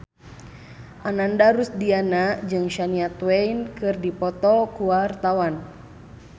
Ananda Rusdiana jeung Shania Twain keur dipoto ku wartawan